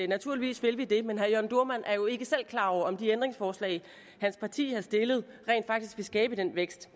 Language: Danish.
naturligvis vil vi det men herre jørn dohrmann er jo ikke selv klar over om de ændringsforslag hans parti har stillet rent faktisk vil skabe den vækst